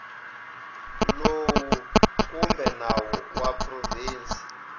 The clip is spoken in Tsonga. lowu kumbe nawu wa provinsi